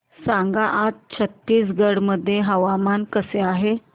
सांगा आज छत्तीसगड मध्ये हवामान कसे आहे